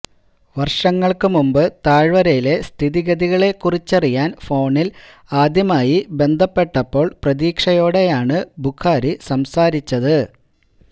വര്ഷങ്ങള്ക്കു മുമ്പ് താഴ്വരയിലെ സ്ഥിതിഗതികളെ കുറിച്ചറിയാന് ഫോണില് ആദ്യമായി ബന്ധപ്പെട്ടപ്പോള് പ്രതീക്ഷയോടെയാണ് ബുഖാരി സംസാരിച്ചത്